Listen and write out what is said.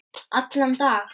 Allan dag?